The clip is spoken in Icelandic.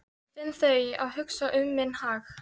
Finn að þau hugsa um minn hag.